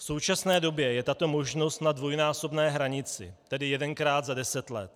V současné době je tato možnost na dvojnásobné hranici, tedy jedenkrát za deset let.